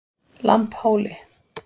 Lambhóli